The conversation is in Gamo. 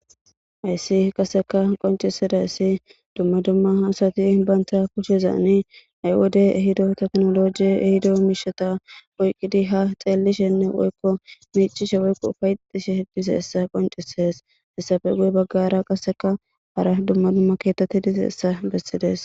hayssi qaseka qoncisidayssi dumma dumma hasati baynta kucshezani aywode ehido teknoloji ehido miishata woyqqidi ha xeellishenne woykko miicishe woykko fayxishe heddiseessa qoncisees hessafe guye baggara qasseka hara dumma dumma keetetti dizeessa bessides